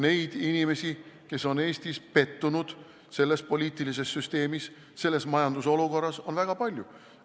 Neid inimesi, kes on Eestis pettunud, on pettunud selles poliitilises süsteemis, selles majandusolukorras, on väga palju.